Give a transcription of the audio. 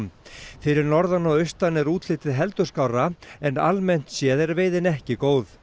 fyrir norðan og austan er útlitið heldur skárra en almennt séð er veiðin ekki góð